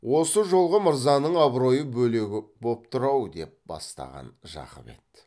осы жолғы мырзаның абыройы бөлегі боп тұр ау деп бастаған жақып еді